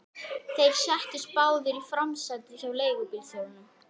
Þeir settust báðir í framsætið hjá leigubílstjóranum.